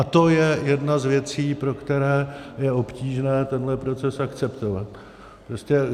A to je jedna z věcí, pro které je obtížné tento proces akceptovat.